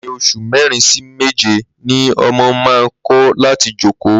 Láàárín os̩ù mé̩rin sí méje ni o̩mo̩ máa ń kó̩ láti jókòó